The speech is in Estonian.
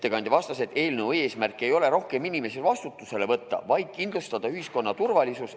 Ettekandja vastas, et eelnõu eesmärk ei ole rohkem inimesi vastutusele võtta, vaid kindlustada ühiskonna turvalisus.